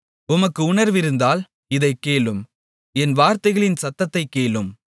உமக்கு உணர்விருந்தால் இதைக் கேளும் என் வார்த்தைகளின் சத்தத்தைக் கேளும்